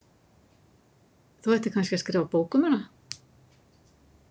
Þú ættir kannski að skrifa bók um hana.